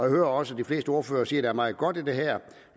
hører også de fleste ordførere sige at der er meget godt i det her